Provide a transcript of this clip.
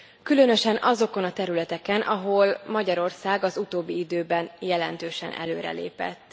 Különösen azokon a területeken, ahol Magyarország az utóbbi időben jelentősen előrelépett.